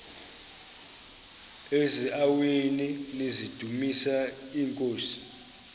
eziaweni nizidumis iinkosi